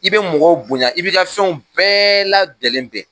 I bɛ mɔgɔw bonya i bi ka fɛnw bɛɛ la lajɛlen bɛn